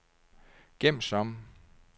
gem som